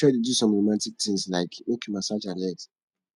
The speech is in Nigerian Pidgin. try dey do som romatik tins lyk mek yu massage her legs